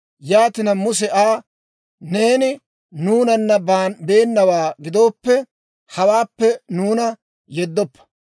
Yaatina Muse Aa, «Neeni nuunana beennawaa gidooppe, hawaappe nuuna yeddoppa.